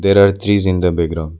There are trees in the background.